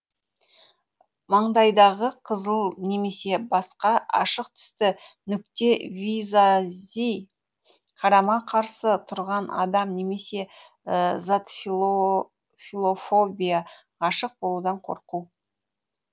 маңдайдағы қызыл немесе басқа ашық түсті нүкте визази қарама қарсы тұрған адам немесе зат филофобия ғашық болудан қорқу